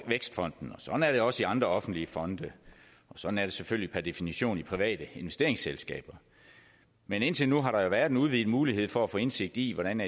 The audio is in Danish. vækstfonden og sådan er det også i andre offentlige fonde og sådan er det selvfølgelig per definition i private investeringsselskaber men indtil nu har der jo været en udvidet mulighed for at få indsigt i hvordan